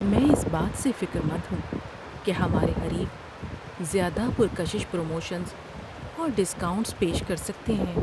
میں اس بات سے فکر مند ہوں کہ ہمارے حریف زیادہ پرکشش پروموشنز اور ڈسکاؤنٹس پیش کر سکتے ہیں۔